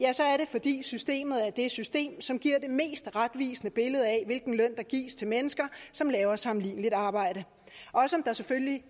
fordi systemet er det system som giver det mest retvisende billede af hvilken løn der gives til mennesker som laver sammenligneligt arbejde selvfølgelig